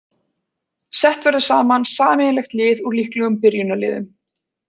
Sett verður saman sameiginlegt lið úr líklegum byrjunarliðum.